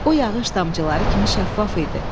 O yağış damcıları kimi şəffaf idi.